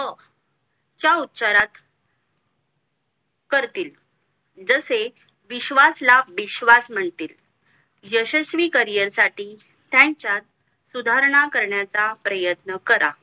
च्या उच्चरवात करतील जसे विश्स्वास ला बिश्वास म्हणतील यशश्वी cariear त्यांच्यात सुधारणा करण्याचा प्रयत्न करा